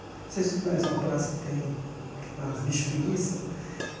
Não sei se você conhece uma praça que tem aquelas bicho preguiça.